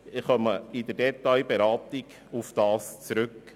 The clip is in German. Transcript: In der Detailberatung werden wir darauf zurückkommen.